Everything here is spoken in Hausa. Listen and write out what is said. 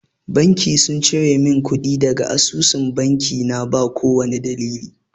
Banki sun cire mun kuɗi daga asusun banki na ba kowani dalili